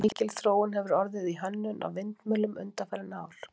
mikil þróun hefur orðið í hönnun á vindmyllum undanfarin ár